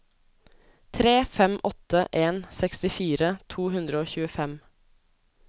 tre fem åtte en sekstifire to hundre og tjuefem